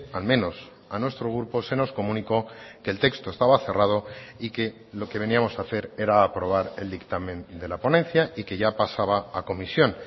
al menos a nuestro grupo se nos comunicó que el texto estaba cerrado y que lo que veníamos a hacer era aprobar el dictamen de la ponencia y que ya pasaba a comisión